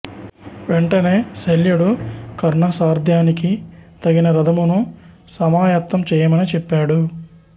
వెంటనే శల్యుడు కర్ణ సార్ధ్యానికి తగిన రధమును సమాయత్తం చేయమని చెప్పాడు